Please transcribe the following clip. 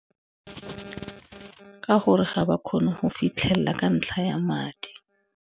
Ka gore ga ba kgone go fitlhelela ka ntlha ya madi.